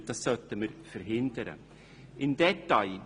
Dies sollten wir verhindern.